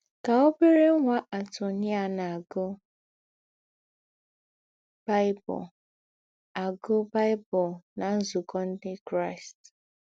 Kà òbérè ńwá Antonia na - àgụ́ Bible - àgụ́ Bible ná nzúkọ̄ Ǹdị Kraịst.